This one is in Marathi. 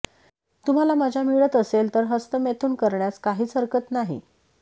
तुम्हाला मजा मिळत असेल तर हस्तमैथून करण्यास काहीच हरकत नाही